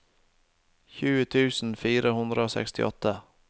tjue tusen fire hundre og sekstiåtte